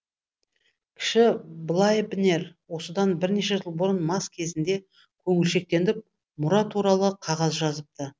кіші блайбнер осыдан бірнеше жыл бұрын мас кезінде көңілшектеніп мұра туралы қағаз жазыпты